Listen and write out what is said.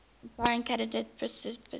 inspiring candidate participants